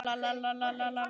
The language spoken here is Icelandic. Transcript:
Þar hófu þau búskap sinn.